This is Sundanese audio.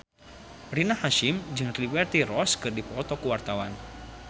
Rina Hasyim jeung Liberty Ross keur dipoto ku wartawan